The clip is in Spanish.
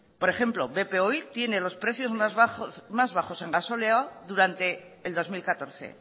por ejempro bp oil tiene los precios más bajos en gasóleo a durante el dos mil catorce